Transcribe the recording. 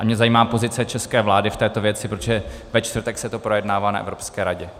A mě zajímá pozice české vlády k této věci, protože ve čtvrtek se to projednává na Evropské radě.